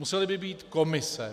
Musely by být komise.